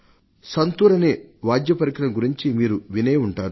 సంతూర్ అనే వాద్యపరికరం గురించి మీరు వినే ఉంటారు